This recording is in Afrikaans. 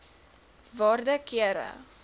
waarde kere